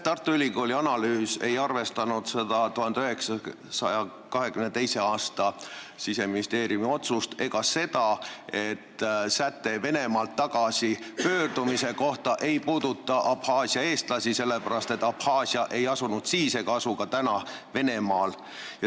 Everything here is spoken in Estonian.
Tartu Ülikooli analüüs ei arvestanud 1922. aasta Siseministeeriumi otsust ega seda, et säte Venemaalt tagasipöördumise kohta ei puuduta Abhaasia eestlasi, sest Abhaasia ei asunud siis ega asu ka täna Venemaal.